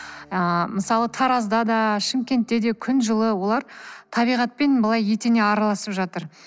ыыы мысалы таразда да шымкентте де күн жылы олар табиғатпен былай етене араласып жатыр